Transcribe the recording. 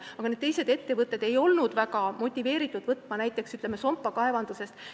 Aga need teised ettevõtted ei olnud väga motiveeritud võtma tööle inimesi näiteks Sompa kaevandusest.